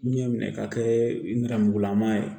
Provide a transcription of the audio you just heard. Ɲɛ minɛ ka kɛ nɛrɛmugulama ye